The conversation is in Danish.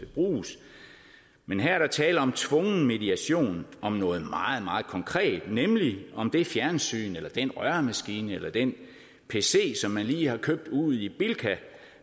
bruges men her er der tale om tvungen mediation om noget meget meget konkret nemlig om det fjernsyn eller den røremaskine eller den pc som man lige har købt ude i bilka